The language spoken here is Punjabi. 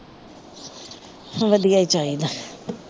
ਵਧੀਆ ਹੀ ਚਾਹੀਦਾ